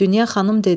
Dünya xanım dedi: